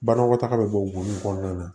Banakɔtaga bɛ bɔ gunnu kɔnɔna na